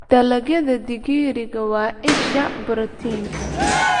Dalagyada digiriga waa isha borotiinka.